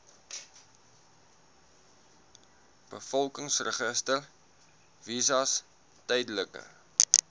bevolkingsregister visas tydelike